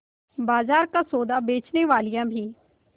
बाजार का सौदा बेचनेवालियॉँ भी